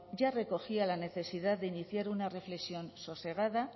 ya recogía la necesidad de iniciar una reflexión sosegada